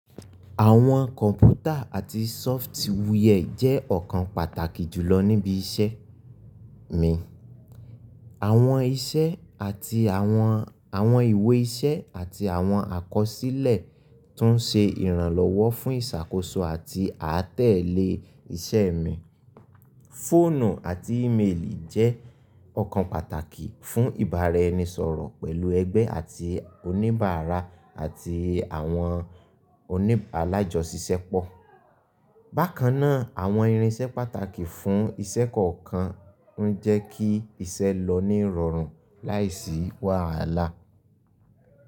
Àwọn kọ̀mpútà àti software jẹ́ ọ̀kan pàtàkì jùlọ níbi iṣẹ́ mi. Àwọn iṣẹ́ àti àwọn, àwọn ìwé iṣẹ́ àti àwọn àkọsílẹ̀ tó ń ṣe ìrànlọ́wọ́ fún ìṣàkóso àti àtẹ̀lé iṣẹ́ mi. Fóònù àti íméèlì jẹ́ ọ̀kan pàtàkì fún ìbára-ẹni-sọ̀rọ̀ pẹ̀lú ẹgbẹ́ àti oníbàárà àti àwọn oní alájọṣìṣẹ́ pọ̀. Bákan náà, àwọn irinṣẹ́ pàtàkì fún iṣẹ́ kọ̀ọ̀kan ń jẹ́ kí iṣẹ́ lọ ní ìrọ̀rùn láìsí wàhálà.